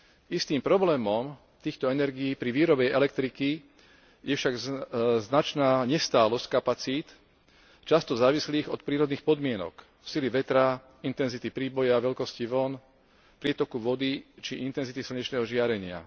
Istým problémom týchto energií pri výrobe elektriky je však značná nestálosť kapacít, často závislých od prírodných podmienok sily vetra, intenzity príboja, veľkosti vĺn, prietoku vody či intenzity slnečného žiarenia.